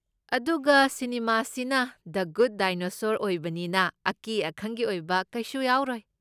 ꯑꯗꯨꯒ ꯁꯤꯅꯤꯃꯥꯁꯤꯅ the good dinosaur ꯑꯣꯏꯕꯅꯤꯅ, ꯑꯀꯤ ꯑꯈꯪꯒꯤ ꯑꯣꯏꯕ ꯀꯩꯁꯨ ꯌꯥꯎꯔꯣꯏ꯫